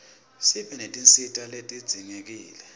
sibe netinsita letidzingekile